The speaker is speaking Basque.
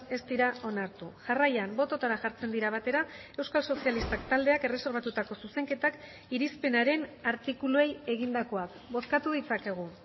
ez dira onartu jarraian bototara jartzen dira batera euskal sozialistak taldeak erreserbatutako zuzenketak irizpenaren artikuluei egindakoak bozkatu ditzakegu